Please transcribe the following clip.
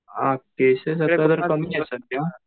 अ cases कमी आहेत सध्या